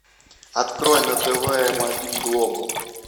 открой на тв м один глобал